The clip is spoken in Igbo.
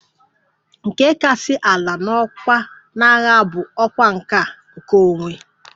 Nke kasị ala n'ọkwá na agha bụ ọkwa nke a ""nkeonwe"""